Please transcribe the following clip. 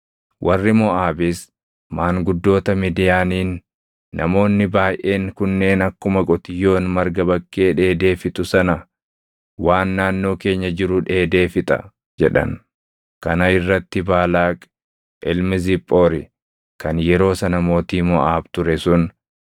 Warri Moʼaabis maanguddoota Midiyaaniin, “Namoonni baayʼeen kunneen akkuma qotiyyoon marga bakkee dheedee fixu sana waan naannoo keenya jiru dheedee fixa” jedhan. Kana irratti Baalaaq ilmi Ziphoori kan yeroo sana mootii Moʼaab ture sun,